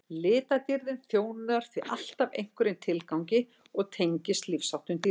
litadýrðin þjónar því alltaf einhverjum tilgangi og tengist lífsháttum dýrsins